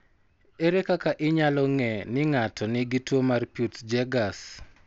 Ere kaka inyalo ng'e ni ng'ato nigi tuwo mar Peutz Jeghers?